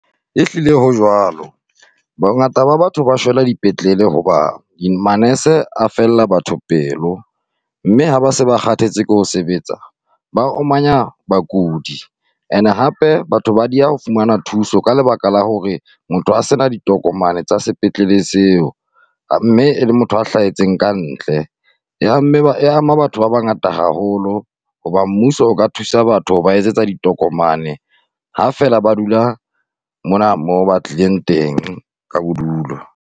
Ehlile ho jwalo, bongata ba batho ba shwela dipetlele hoba manese a fella batho pelo, mme ha ba se ba kgathetse ke ho sebetsa ba omanya bakudi. And hape, batho ba dieha ho fumana thuso ka lebaka la hore motho a sena ditokomane tsa sepetlele seo mme le motho a hlahetseng kantle, e amme e ama batho ba bangata haholo. Hoba mmuso o ka thusa batho ho ba etsetsa ditokomane ha fela ba dula mona moo ba tlileng teng ka bodulo.